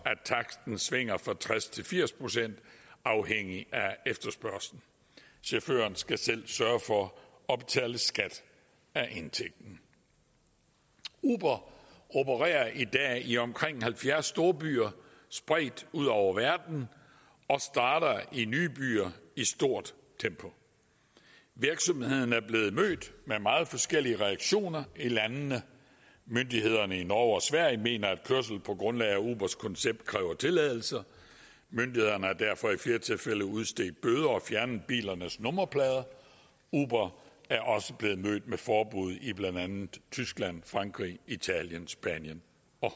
at taksten svinger fra tres til firs procent afhængigt af efterspørgslen chaufføren skal selv sørge for at betale skat af indtægten uber opererer i dag i omkring halvfjerds storbyer spredt ud over verden og starter i nye byer i et stort tempo virksomheden er blevet mødt med meget forskellige reaktioner i landene myndighederne i norge og sverige mener at kørsel på grundlag af ubers koncept kræver tilladelse myndighederne har derfor i flere tilfælde udstedt bøder og fjernet bilernes nummerplader uber er også blevet mødt med forbud i blandt andet tyskland frankrig italien spanien